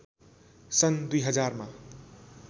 सन् २००० मा